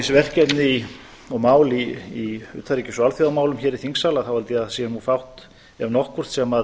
verkefni og mál í utanríkis og alþjóðamálum hér í þingsal þá held ég að það sé nú fátt ef nokkuð sem